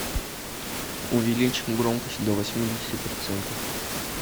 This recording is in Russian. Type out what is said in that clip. увеличь громкость до восьмидесяти процентов